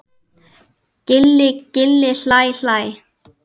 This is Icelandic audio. Gilli gilli hlæ hlæ.